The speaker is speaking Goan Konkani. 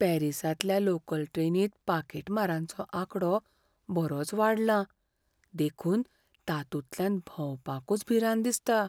पॅरीसांतल्या लोकल ट्रेनींत पाकिटमारांचो आंकडो बरोच वाडलां, देखून तांतूंतल्यान भोंवपाकूच भिरांत दिसता.